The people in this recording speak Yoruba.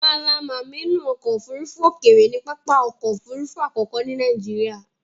Mallam amnu ọkọ ofurufu okeere ni papa ọkọ òfurufú àkókò ni Nàìjíríà.